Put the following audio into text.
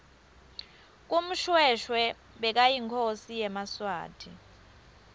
mushoeshoe bekayinkhosi yemasuthu